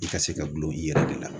I ka se ka dulon i yɛrɛ de la